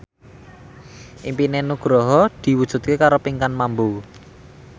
impine Nugroho diwujudke karo Pinkan Mambo